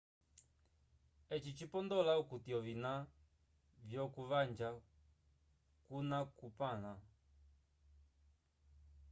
eci cipondola okuti ovina vyoku vaja cuna cupanla